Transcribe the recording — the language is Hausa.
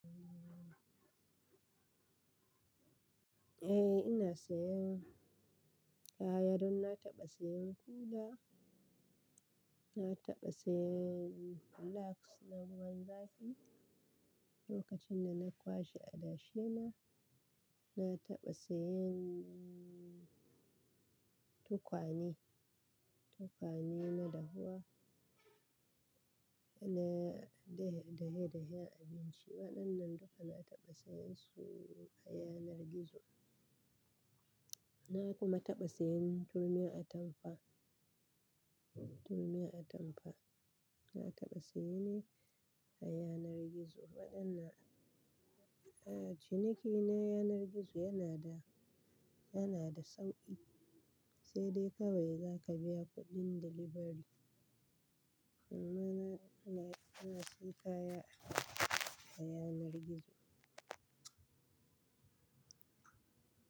Eh ina sayan kayar, na taɓa sayan kula, na taɓa sayan flax na ruwan zafi lokacin da na kwashe adashi na, na taɓa sayan tukwane, tukwane na dahuwa, na dahe dahen abinci, waɗannan duka na taɓa sayan su a yanar gizo. Na kuma taɓa sayan turmin atamfa, turmin atamfa, na taɓa saye nai a yanar gizo waɗannan, ahh ciniki na yanar gizo yana da, yana da sauƙi sai dai kawai za ka biya kuɗin delivery. Mana ina, ina siyan kaya a yanar gizo.